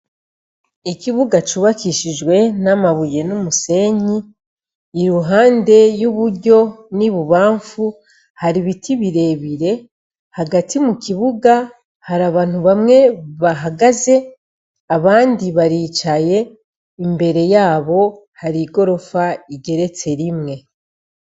Ikibuga cubakishijwe n'amabuye n'umusenyi, iruhande y'iburyo n'ibubamfu hari ibiti birebire. Hagati mu kibuga, hari abantu bamwe bahagaze, abandi baricaye, imbere yabo hari igorofa igeretse rimwe..